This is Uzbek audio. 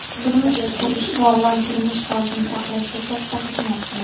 turmush qurish sog‘lom turmush tarzini saqlashda katta xizmat qiladi.